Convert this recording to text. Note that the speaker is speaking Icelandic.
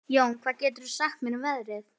Jón, hvað geturðu sagt mér um veðrið?